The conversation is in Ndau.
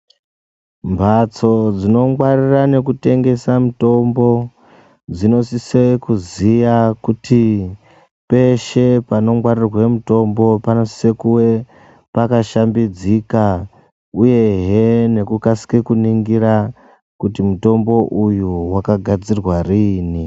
Mbatso dzinongwarira nekutengesa mutombo dzinosise kuziya kuti peshe panongwarirwe mutombo panosise kuwe pakashambidzika uyehe nekukasike kuningira kuti mutombo uyu wakagadzirwa riini?